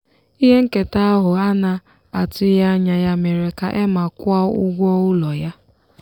ihe nketa ahụ a na-atụghị anya ya mere ka emma kwụọ ụgwọ ụlọ ya.